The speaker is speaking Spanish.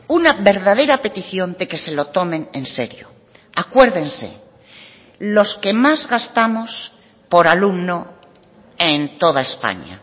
una verdadera petición de que se lo tomen en serio acuérdense los que más gastamos por alumno en toda españa